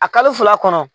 A kalo fila kɔnɔ